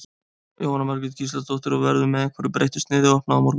Jóhanna Margrét Gísladóttir: Og, verður með einhverju breyttu sniði opnað á morgun?